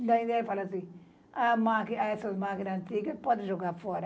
E daí daí ela fala assim: A máqui, essas máquina antiga pode jogar fora.